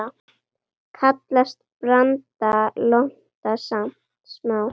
Kallast branda lonta smá.